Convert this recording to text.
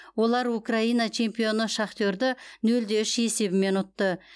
олар украина чемпионы шахтерді нөл де үш есебімен ұтты